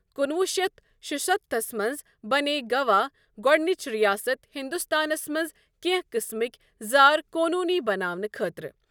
کُنوُہ شیتھ شُستتھس منٛز بنے گوا گۄڈٕنچ ریاست ہندوستانس منٛز کینٛہہ قسمٕکۍ زار قونونی بناونہٕ خٲطرٕ۔